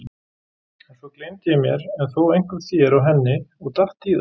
En svo gleymdi ég mér en þó einkum þér og henni og datt í það.